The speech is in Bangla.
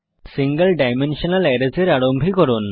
সিঙ্গল ডাইমেনশনাল অ্যারেস এর আরম্ভীকরণ